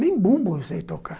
Nem bumbo eu sei tocar.